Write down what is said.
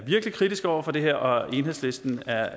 virkelig kritiske over for det her og enhedslisten er